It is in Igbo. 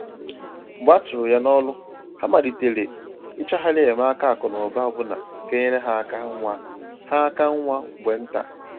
Mgbe a chụrụ ha n’ọrụ, ha malitere i chọghari enyemaka akụ́ na ụ̀ba ọbụna ga enyere ha áká nwa ha áká nwa mgbe ntà.